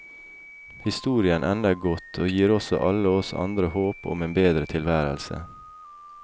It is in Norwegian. Historien ender godt og gir også alle oss andre håp om en bedre tilværelse.